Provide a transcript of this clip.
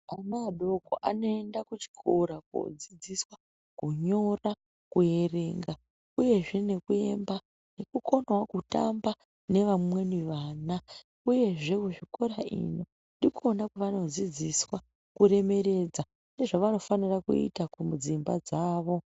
Ana adoko anoenda kuchikora kodzidziswa kunyora kuerenga uyezve nekuemba nekukona kutamba nevamweni vana uyezve zvikora ino ndikona kwavanodzidziswa kuremekedza nezvavanofana kuita mudzimba dzawo.